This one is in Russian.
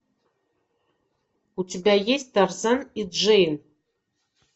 у тебя есть тарзан и джейн